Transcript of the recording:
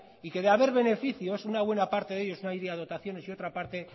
y que de haber beneficios una buena parte de ellos iría a dotaciones y otra parte